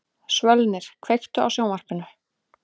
Svölnir, kveiktu á sjónvarpinu.